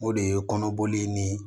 O de ye kɔnɔboli ni